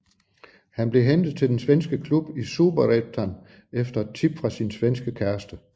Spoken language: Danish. Han blev hentet til den svenske klub i Superettan efter et tip fra sin svenske kæreste